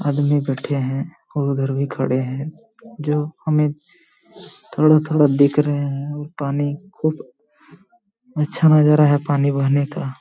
आदमी बैठे हैं और उधर भी खड़े हैं जो हमे थोड़ा थोड़ा दिख रहे हैं और पानी खूब अच्छा नजारा है पानी बहने का--